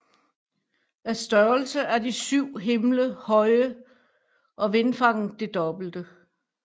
Af størrelse er de syv himle høje og vingefanget det dobbelte